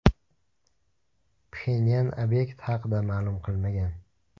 Pxenyan obyekt haqida ma’lum qilmagan.